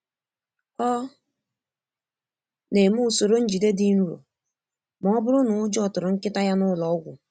Ọ na-eme usoro njide dị nro ma ọ bụrụ na ụjọ tụrụ nkịta ya n'ụlọọgwụ.